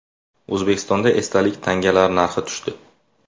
O‘zbekistonda esdalik tangalar narxi tushdi.